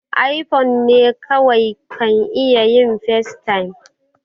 iphone ne kawai kan iya yin facetime